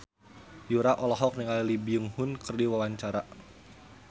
Yura olohok ningali Lee Byung Hun keur diwawancara